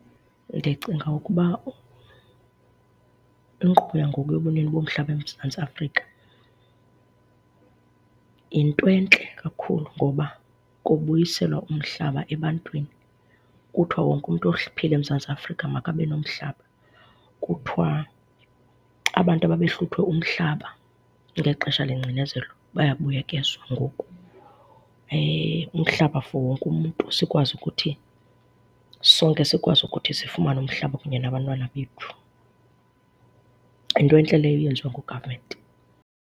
Ndicinga ukuba inkqubo yangoku yobunini bomhlaba eMzantsi Afrika yinto entle kakhulu ngoba kubuyiselwa umhlaba ebantwini. Kuthiwa wonke umntu ophila eMzantsi Afrika makabe nomhlaba. Kuthiwa abantu ababehluthwe umhlaba ngexesha lengcinezelo bayabuyekezwa ngoku. Umhlaba for wonke umntu sikwazi ukuthi sonke sikwazi ukuthi sifumane umhlaba kunye nabantwana bethu. Yinto entle leyo eyenziwa ngugavamenti.